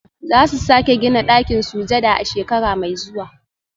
Za su sake gina ɗakin sujada a shekara mai zuwa